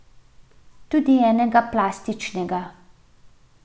Tudi enega plastičnega.